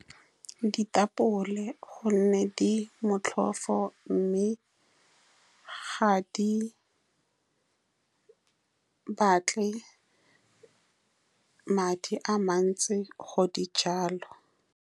Ditapole, ka gonne di motlhofo, mme ga di batle madi a mantsi go di jala.